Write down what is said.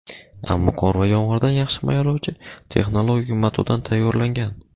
ammo qor va yomg‘irdan yaxshi himoyalovchi texnologik matodan tayyorlangan.